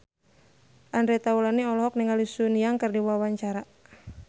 Andre Taulany olohok ningali Sun Yang keur diwawancara